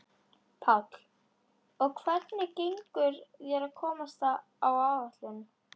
Páll: Og hvernig gengur þér að komast á áætlun?